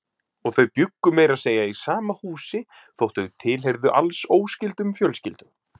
Og þau bjuggu meira að segja í sama húsi þótt þau tilheyrðu alls óskyldum fjölskyldum.